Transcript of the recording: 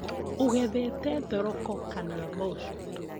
Ũgethete thororko kana mboco?